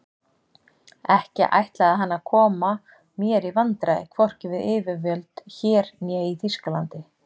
Ekki ætlaði hann að koma mér í vandræði hvorki við yfirvöld hér né í Þýskalandi.